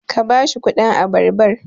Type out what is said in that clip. ka ba shi kudin abarbar!